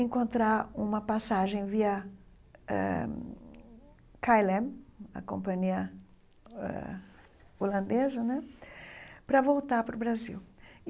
encontrar uma passagem via eh Kaelem, a companhia eh holandesa né, para voltar para o Brasil.